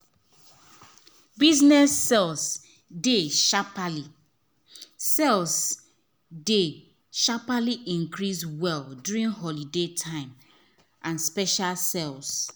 business sales dey sharply sales dey sharply increase well during holiday time and special sales.